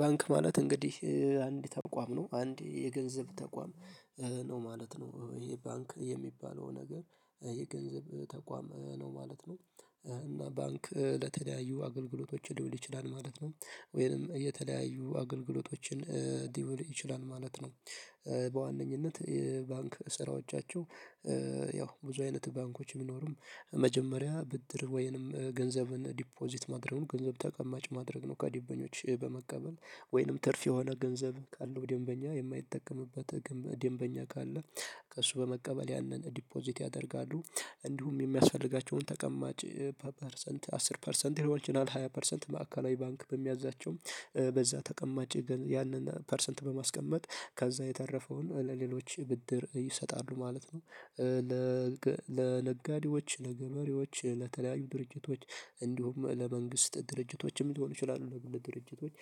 ባንክ ማለት እንግዲህ አንድ ተቋም ነው። አንድ የገንዘብ ተቋም ነው ማለት ነው። ይሄ ባንክ የሚባለው ነገር የገንዘብ ተቋም ነው ማለት ነው። እና ባንክ ለተለያዩ አገልግሎቶች ሊውል ይችላል ማለት ነው። ወይንም የተለያዩ አገልግሎቶችን ሊውል ይችላል ማለት ነው። በዋነኝነት የባንክ ስራዎቻቸው ያው ብዙ አይነት ባንኮች ቢኖሩም መጀመሪያ ብድር ወይንም ገንዘብን ዲፖዚት ማድረግ ገንዘብ ተቀማጭ ማድረግ ነው ከዲበኞች በመቀበል። ወይንም ትርፍ የሆነ ገንዘብ ካለው ደንበኛ የማይጠቀምበት ደንበኛ ካለ ከእሱ በመቀበል ያንን ዲፖዚት ያደርጋሉ። እንዲሁም የሚያስፈልጋቸውን ተቀማጭ በፐርሰንት አስር ፐርሰንት የሆነው ቻናል ሃያ ፐርሰንት ማዕከላዊ ባንክ በሚያዛቸው በዛ ተቀማጭ ያንን ፐርሰንት በማስቀመጥ ከዛ የተረፈውን ለሌሎች ብድር ይሰጣሉ ማለት ነው። ለነጋዴዎች፣ ለገበሬዎች፣ ለተለያዩ ድርጅቶች እንዲሁም ለመንግስት ድርጅቶች የሚሆኑ ይችላሉ ለግብር ድርጅቶች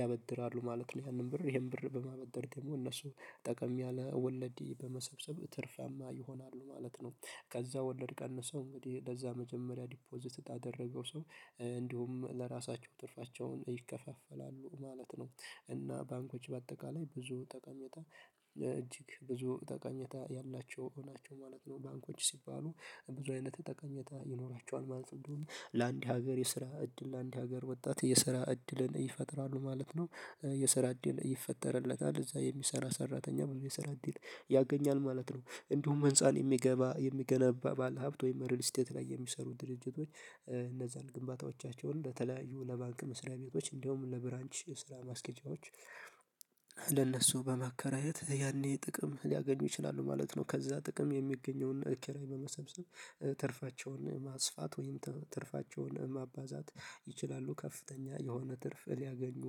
ያበድራሉ ማለት ነው። ይሄን ብር በማበደር ደግሞ እነሱ ጠቀም ያለ ወለድ በመሰብሰብ ትርፋማ ይሆናሉ ማለት ነው። ከዛ ወለድ ቀንሰው እንግዲህ ለዛ መጀመሪያ ዲፖዚት ላደረገው ሰው እንዲሁም ለራሳቸው ትርፋቸውን ይከፋፈላሉ ማለት ነው። እና ባንኮች በአጠቃላይ ብዙ ጠቀመታ እጅግ ብዙ ተቀኝታ ያላቸው ናቸው ማለት ነው። ባንኮች ሲባሉ ብዙ አይነት ጠቃሚታ ይኖራቸዋል ማለት እንደውም ለአንድ ሀገር የስራ እድል ለአንድ ሀገር ወጣት የስራ እድልን ይፈጥራሉ ማለት ነው። የስራ እድል ይፈጠርለታል። እዛ የሚሰራ ሰራተኛ የስራ እድል ያገኛል ማለት ነው። እንዲሁም ህንፃ የሚገነባ ባለሀብት ወይም ሪል ስቴት ላይ የሚሰሩ ድርጅቶች እነዛን ግንባታዎቻቸውን ለተለያዩ ለባንክ መስሪያ ቤቶች እንደውም ለብራንች ስራ ማስኬጃዎች ለእነሱ በመከራየት ያኔ ጥቅም ሊያገኙ ይችላሉ ማለት ነው። ከዛ ጥቅም የሚገኘውን ኪራይ በመሰብሰብ ትርፋቸውን ማስፋት ወይም ትርፋቸውን ማባዛት ይችላሉ። ከፍተኛ የሆነ ትርፍ ሊያገኙ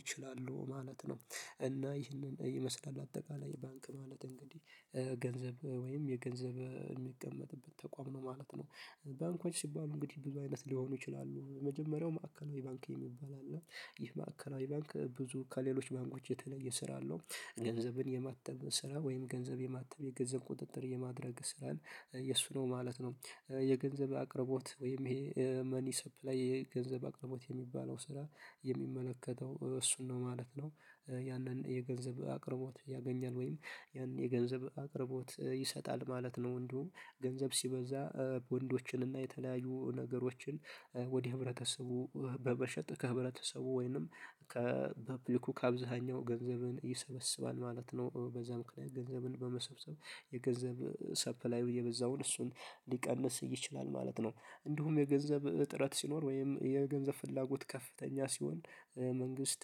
ይችላሉ ማለት ነው። እና ይህንን ይመስላል አጠቃላይ ባንክ ማለት እንግዲህ። ገንዘብ ወይም የገንዘብ የሚቀመጥበት ተቋም ነው ማለት ነው። ባንኮች ሲባሉ እንግዲህ ብዙ አይነት ሊሆኑ ይችላሉ። የመጀመሪያው ማዕከላዊ ባንክ የሚባል አለ። ይህ ማዕከላዊ ባንክ ብዙ ከሌሎች ባንኮች የተለየ ስራ አለው። ገንዘብን የማተም ስራ ወይም ገንዘብ የማተም የገንዘብ ቁጥጥር የማድረግ ስራ የእሱ ነው ማለት ነው። የገንዘብ አቅርቦት ወይም ይሄ መኒ ሰፕላይ የገንዘብ አቅርቦት የሚባለው ስራ የሚመለከተው እሱን ነው ማለት ነው። ያንን የገንዘብ አቅርቦት ያገኛል ወይም ያንን የገንዘብ አቅርቦት ይሰጣል ማለት ነው። እንዲሁም ገንዘብ ሲበዛ ወንዶችን እና የተለያዩ ነገሮችን ወደ ህብረተሰቡ በበሸጥ ከህብረተሰቡ ወይንም ከፕሊኩ ከአብዛኛው ገንዘብን ይሰበስባል ማለት ነው። በዛ ገንዘብን በመሰብሰብ የገንዘብ ሰፕላይ የበዛውን እሱን ሊቀንስ ይችላል ማለት ነው። እንዲሁም የገንዘብ እጥረት ሲኖር ወይም የገንዘብ ፍላጎት ከፍተኛ ሲሆን መንግስት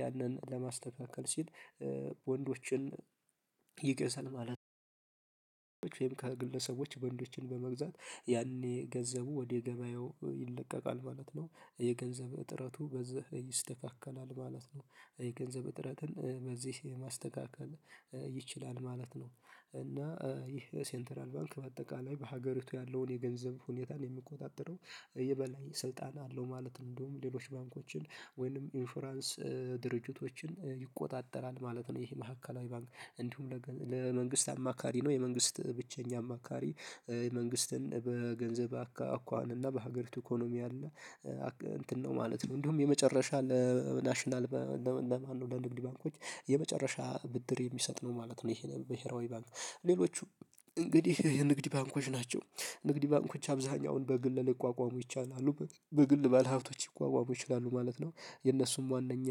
ያንን ለማስተካከል ሲል ቦንዶችን ይገዛል ማለት ነው። ቦንዶች ወይም ቦንዶችን በመግዛት ያኔ ገንዘቡ ወደ ገበያው ይለቀቃል ማለት ነው። የገንዘብ እጥረቱ በዚህ ይስተካከላል ማለት ነው። የገንዘብ እጥረትን በዚህ ማስተካከል ይችላል ማለት ነው። እና ይህ ሴንተራል ባንክ በአጠቃላይ በሀገሪቱ ያለውን የገንዘብ ሁኔታን የሚቆጣጠረው የበላይ ስልጣን አለው ማለት ነው። እንደውም ሌሎች ባንኮችን ወይንም ኢንፍራንስ ይቆጣጠራል ማለት ነው ይሄ መካከላዊ ባንክ። እንዲሁም ለመንግስት አማካሪ ነው። የመንግስት ብቸኛ አማካሪ። መንግስትን በገንዘብ አኳኋን እና በሀገሪቱ ኢኮኖሚ አለ እንትን ነው ማለት ነው። እንዲሁም የመጨረሻ ለናሽናል ለማን ነው ለንድድ ባንኮች የመጨረሻ ብድር የሚሰጥ ነው ማለት ነው ይሄ በሄራዊ ባንክ። ሌሎቹ እንግዲህ የንግድ ባንኮች ናቸው። ንግድ ባንኮች አብዛኛውን በግል ልቋቋሙ ይቻላሉ። በግል ባለሀብቶች ይቋቋሙ ይችላሉ ማለት ነው። የነሱም ዋነኛ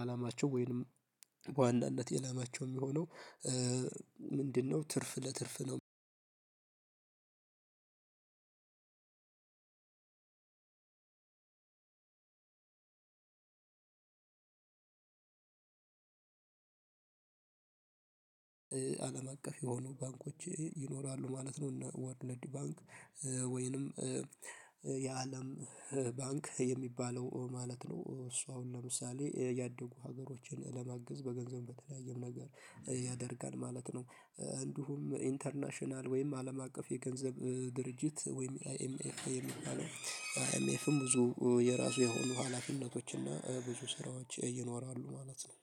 አላማቸው ወይንም በዋናነት ዓላማቸው የሚሆነው ምንድነው ትርፍ ለትርፍ አለም አቀፍ የሆኑ ባንኮች ይኖራሉ ማለት ነው። እነ ወርልድ ባንክ ወይንም የአለም ባንክ የሚባለው ማለት ነው። እሱ አሁን ለምሳሌ ያደጉ ሀገሮችን ለማግዝ በገንዘብ በተለያየም ነገር ያደርጋል ማለት ነው። እንዲሁም ኢንተርናሽናል ወይም አለም አቀፍ የገንዘብ ድርጅት ወይም አይኤምኤፍ የሚባለው። አይኤምኤፍም ብዙ የራሱ የሆኑ ሀላፊነቶች እና ብዙ ስራዎች ይኖራሉ ማለት ነው።